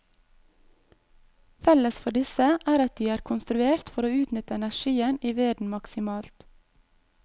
Felles for disse er at de er konstruert for å utnytte energien i veden maksimalt.